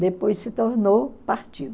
Depois se tornou partido.